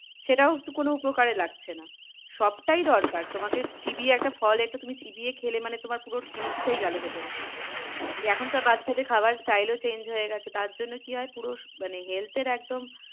সেটাও তো কোনো উপকারে লাগছে না। সবটাই দরকার তোমাদেরকে চিবিয়ে একটা ফল একটা তুমি চিবিয়ে খেলে মানে তোমার পুরো জিনিসটাই গেলো ভেতরে এ এখনকার বাচ্চাদের খাবার style ও change হয়ে গেছে। তার জন্য কি হয় পুরো মানে health এর একদম,